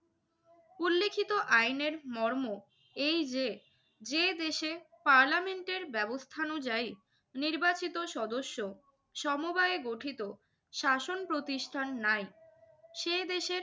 উল্লিখিত আইনের মর্ম এই যে, যে দেশে পার্লামেন্টের ব্যবস্থানুযায়ী নির্বাচিত সদস্য সমবায়ে গঠিত শাসন প্রতিষ্ঠান নাই সে দেশের